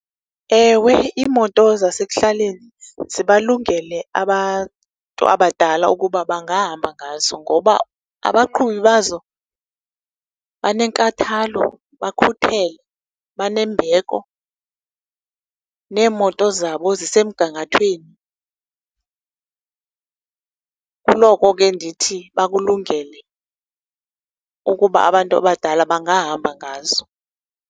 Ewe, imoto zasekuhlaleni zibalungele abantu abadala ukuba bangahamba ngazo, ngoba abaqhubi bazo banenkathalo, bakhuthele, banembeko. Neemoto zabo zisemgangathweni. Kuloko ke ndithi bakulungele ukuba abantu abadala bangahamba ngazo.